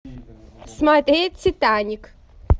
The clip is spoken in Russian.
смотреть титаник